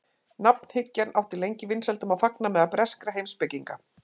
nafnhyggjan átti lengi vinsældum að fagna meðal breskra heimspekinga